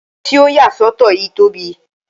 Ile ti o ya sọtọ yii tobi